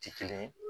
Ti kelen